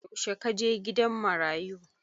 Yaushe ka je gidan marayu?